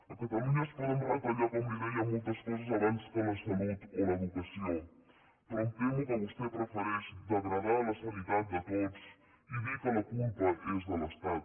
a catalunya es poden retallar com li deia moltes coses abans que la salut o l’educació però em temo que vostè prefereix degradar la sanitat de tots i dir que la culpa és de l’estat